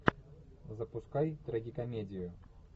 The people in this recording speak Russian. запускай трагикомедию